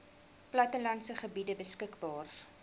plattelandse gebiede beskikbaar